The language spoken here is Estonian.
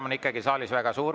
Lärm on saalis ikka väga suur.